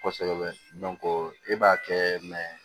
Kɔsɛbɛ i b'a kɛ